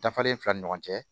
Dafalen fila ni ɲɔgɔn cɛ